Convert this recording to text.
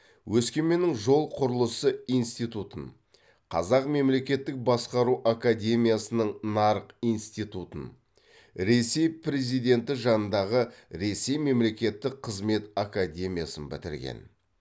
өскеменнің жол құрылысы институтын қазақ мемлекеттік басқару академиясының нарық институтын ресей президенті жанындағы ресей мемлекеттік қызмет академиясын бітірген